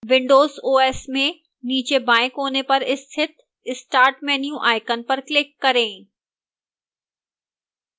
windows os में नीचे बाएं कोने पर स्थितstart menu icon पर click करें